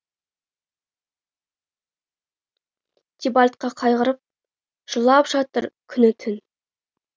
тибальтқа қайғырып жылап жатыр күні түн